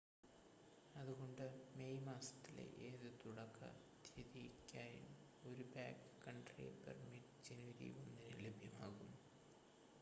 അതുകൊണ്ട് മേയ് മാസത്തിലെ ഏത് തുടക്ക തീയതിക്കായും ഒരു ബാക്ക്‌കൺട്രി പെർമിറ്റ് ജനുവരി 1-ന് ലഭ്യമാകും